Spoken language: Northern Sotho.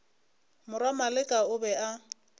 morwa maleka o be a